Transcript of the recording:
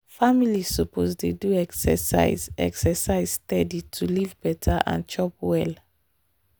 families suppose dey do exercise exercise steady to live better and chop well.